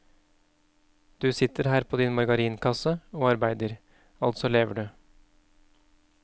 Du sitter her på din margarinkasse og arbeider, altså lever du.